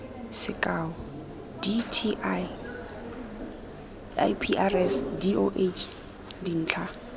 sekao dti iprs doh dintlha